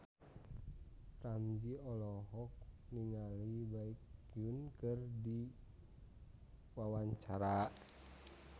Ramzy olohok ningali Baekhyun keur diwawancara